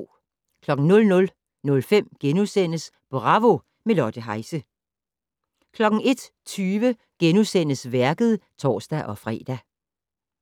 00:05: Bravo - med Lotte Heise * 01:20: Værket *(tor-fre)